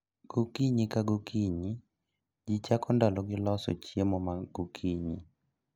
Gokinyi ka gokinyi, jii chako ndalo gi loso chiemo magokinyi